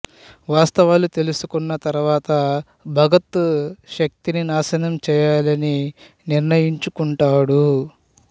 వాస్తవాలు తెలుసుకున్న తరువాత భగత్ శక్తిని నాశనం చేయాలని నిర్ణయించుకుంటాడు